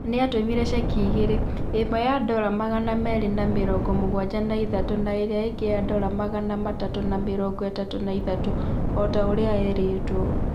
Nĩ aatũmire cekhi igĩrĩ, ĩmwe ya ndora magana meerĩ na mĩrongo mũgwanja na ithatũ na ĩrĩa ĩngĩ ya ndora magana matatũ na mĩrongo ĩtatũ na ithatũ, o ta ũrĩa eerĩtwo.